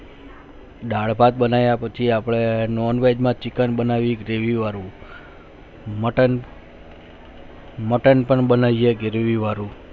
દાળ ભાત બનાયી પછી અપને Non veg માં chicken બનાવ્યું અપને gravy વાળું મટન મટન પણ બનાયી gravy વાળું